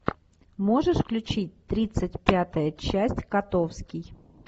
можешь включить тридцать пятая часть котовский